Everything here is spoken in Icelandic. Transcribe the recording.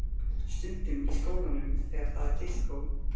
Stundum í skólanum þegar það er diskó.